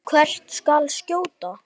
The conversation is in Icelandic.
Hvert skal skjóta?